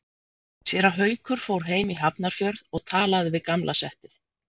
Séra Haukur fór heim í Hafnarfjörð og talaði við gamla settið.